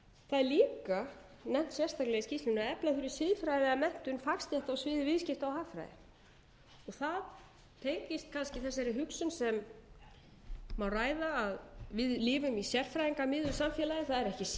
það er líka nefnt sérstaklega í skýrslunni að efla þurfi siðfræði eða menntun fagstétta á sviði viðskipta og hagfræði það tengist kannski þessari hugsun sem má ræða að við lifum í sérfræðingamiðuðu samfélagi það er ekki séríslenskt fyrirbæri það er